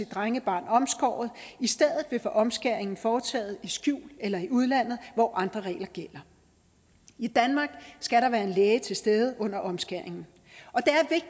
drengebarn omskåret i stedet vil få omskæringen foretaget i skjul eller i udlandet hvor andre regler gælder i danmark skal der være en læge til stede under omskæringen